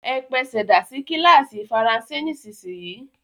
E pesèdà sí kílàsì faransé nísinyì!